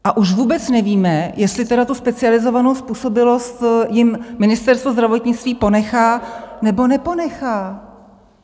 A už vůbec nevíme, jestli tedy tu specializovanou způsobilost jim Ministerstvo zdravotnictví ponechá, nebo neponechá.